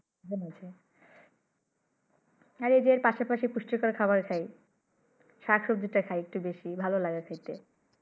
এই যে পাশাপাশি পুষ্টিকর খাবার খাই শাক সব্জি খাই একটু বেশি ভালো লাগে খাইতে